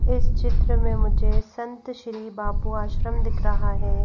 इस चित्र में मुझे संत श्री बापू आश्रम दिख रहा है।